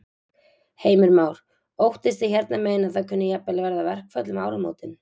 Heimir Már: Óttist þið hérna megin að það kunni jafnvel að verða verkföll um áramótin?